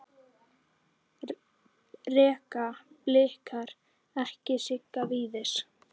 Reka Blikar ekki Sigga Víðis?